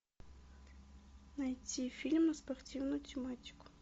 найти фильм на спортивную тематику